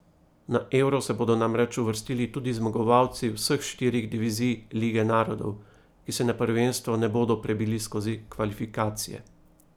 Na Euro se bodo namreč uvrstili tudi zmagovalci vseh štirih divizij Lige narodov, ki se na prvenstvo ne bodo prebili skozi kvalifikacije.